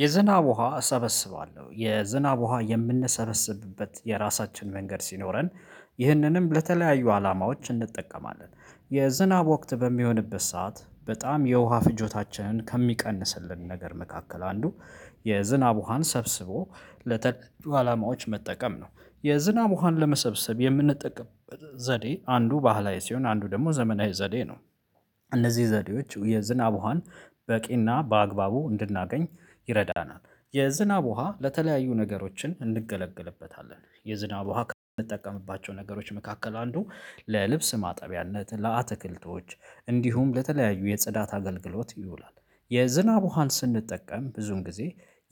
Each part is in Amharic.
የዝናብ ውሃ እሰበስባለሁ የዝናብ ውሃ የምንሰበስብበት የራሳችን መንገድ ሲኖረን ይህንንም ለተለያዩ አላማዎች እንጠቀማለን። የዝናብ ወቅት በሚሆንበት ሰዓት በጣም የውሃ ፍጆታችንን ከሚቀንስልን ነገር መካከል አንዱ። የዝናብ ውሃን ሰብስቦ ለተለያዩ አላማዎች መጠቀም ነው። የዝናብ ውሃን ለመሰብሰብ የምንጠቅም ዘዴ አንዱ ባህላዊ ሲሆን አንዱ ደግሞ ዘመናዊ ዘዴ ነው። እነዚህ ዘዴዎች የዝናብ ውሃን በቂና በአግባቡ እንድናገኝ ይረዳናል። የዝናብ ውሃ ለተለያዩ ነገሮችን እንገለገልበታለን የዝናብ ውሃ ከምንጠቀምባቸው ነገሮች መካከል አንዱ ለልብስ ማጠቢያነት ለአትክልቶች እንዲሁም ለተለያዩ የጽዳት አገልግሎት ይውላል። የዝናብ ውሃን ስንጠቀም ብዙን ጊዜ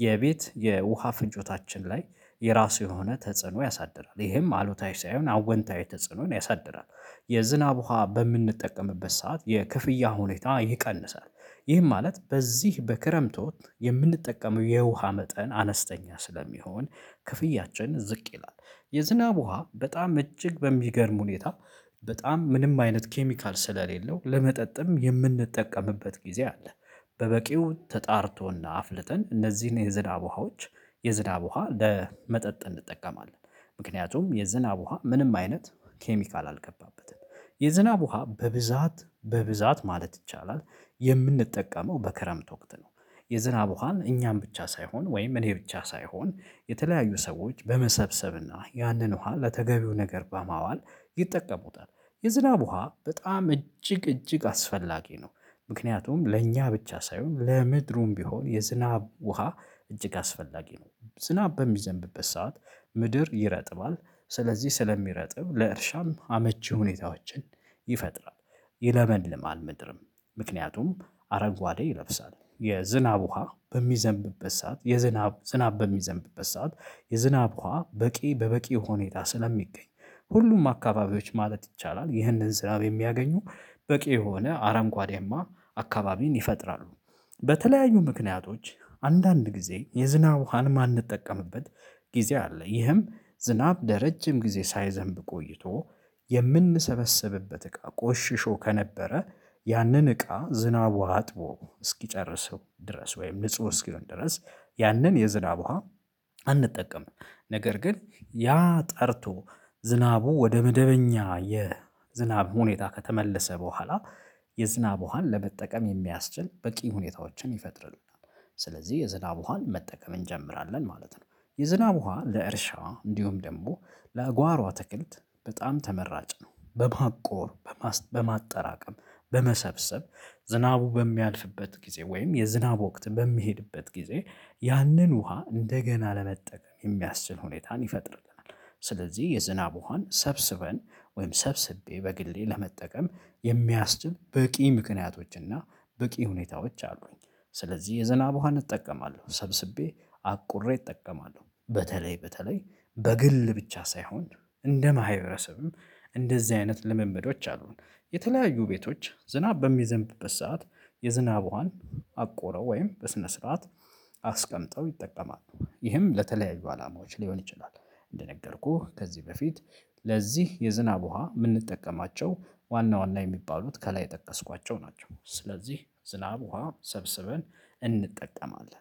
የቤት የውሃ ፍንጆታችን ላይ የራሱ የሆነ ተጽዕኖ ያሳድራል ይሄም አሉታዊ ሳይሆን አወንታዊ ተጽዕኖን ያሳድራል። የዝናብ ውሃ በምንጠቀምበት ሰዓት የክፍያ ሁኔታ ይቀንሳል። ይህም ማለት በዚህ በክረምት ወቅት የምንጠቀመው የውሃ መጠን አነስተኛ ስለሚሆን ክፍያችን ዝቅ ይላል። የዝናብ ውሃ በጣም እጅግ በሚገርም ሁኔታ በጣም ምንም አይነት ኬሚካል ስለሌለው ለመጠጥም የምንጠቀምበት ጊዜ አለ። በበቂው ተጣርቶና አፍልጠን እነዚህን የዝዳብ ውሃዎች የዝዳብ ውሃ ለመጠጥ እንጠቀማለን። ምክንያቱም የዝናብ ውሃ ምንም አይነት ኬሚካል አልገባበትም። የዝናብ ውሃ በብዛት በብዛት ማለት ይቻላል የምንጠቀመው በክረምት ወቅት ነው። የዝናብ ውሃን እኛን ብቻ ሳይሆን ወይም እኔ ብቻ ሳይሆን የተለያዩ ሰዎች በመሰብሰብና ያንን ውሃ ለተገቢው ነገር በማዋል ይጠቀሙታል። የዝናብ ውሃ በጣም እጅግ እጅግ አስፈላጊ ነው። ምክንያቱም ለእኛ ብቻ ሳይሆን ለምድሩም ቢሆን የዝናብ ውሃ እጅግ አስፈላጊ ነው ዝናብ በሚዘንብበት ሰዓት ምድር ይረጥባል ስለዚህ ስለሚረጥብ ለእርሻም አመቺ ሁኔታዎችን ይፈጥራል። ይለመልም ምድርም ምክንያቱም አረጓዴ ይለብሳል የዝናብ ውሃ በሚዘንብበት ሰዓት የዝናብ ዝናብ በሚዘንብበት ሰዓት የዝናብ ውሃ በቂ በበቂ ሁኔታ ስለሚገኝ ሁሉም አካባቢዎች ማለት ይቻላል ይህንን ስራው የሚያገኙ በቂ የሆነ አረንጓዴማ አካባቢን ይፈጥራሉ። በተለያዩ ምክንያቶች አንዳንድ ጊዜ የዝናብ ውሃን ማንጠቀምበት ጊዜ አለ። ይህም ዝናብ ለረጅም ጊዜ ሳይዘንብ ቆይቶ የምንሰበሰብበት እቃ ቆሽሾ ከነበረ ያንን እቃ ዝናብ ውሃ አጥቦ እስኪጨርሰው ድረስ ወይም ንጹህ እስኪሆን ድረስ ያንን የዝናብ ውሃ አንጠቀምም። ነገር ግን ያ ጠርቶ ዝናቡ ወደ መደበኛ የዝናብ ሁኔታ ከተመለሰ በኋላ የዝናብ ውሃን ለመጠቀም የሚያስችል በቂ ሁኔታዎችን ይፈጥርልናል። ስለዚህ የዝናብ ውሃን መጠቀም እንጀምራለን ማለት ነው። የዝናብ ውሃ ለእርሻ እንዲሁም ደግሞ ለአጓሮ አትክልት በጣም ተመራጭ ነው። በማቆር በማጠራቀም በመሰብሰብ ዝናቡ በሚያልፍበት ጊዜ ወይም የዝናብ ወቅት በሚሄድበት ጊዜ ያንን ውሃ እንደገና ለመጠቀም የሚያስችል ሁኔታን ይፈጥርልናል። ስለዚህ የዝናብ ውሃን ሰብስበን ወይም ሰብስቤ በግሌ ለመጠቀም የሚያስችል በቂ ምክንያቶችና በቂ ሁኔታዎች አሉኝ። ስለዚህ የዘናብ ውሃን እጠቀማለሁ ሰብስቤ አቁሬ እጠቀማለሁ። በተለይ በተለይ በግል ብቻ ሳይሆን እንደ ማህበረሰብም እንደዚህ አይነት ልምምዶች አሉን። የተለያዩ ቤቶች ዝናብ በሚዘንብበት ሰዓት የዝናብ ውሃን አቆረው ወይም በስነ ስርዓት አስቀምጠው ይጠቀማል። ይህም ለተለያዩ አላማዎች ሊሆን ይችላል። እንደነገርኩህ ከዚህ በፊት ለዚህ የዝናብ ውሃ የምንጠቀማቸው ዋና ዋና የሚባሉት ከላይ ጠቀስኳቸው ናቸው። ስለዚህ ዝናብ ውሃ ሰብስበን እንጠቀማለን